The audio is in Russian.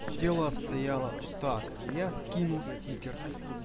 дело обстояло так я скину стикер